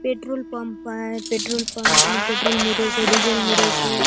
Petrol pump आय petrol pump ने petrol मिरेसे डीजल मिरेसे।